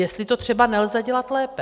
Jestli to třeba nelze dělat lépe.